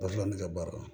Badi ne ka baara la